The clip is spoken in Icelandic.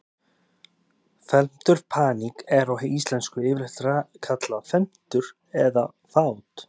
Felmtur Paník er á íslensku yfirleitt kallað felmtur eða fát.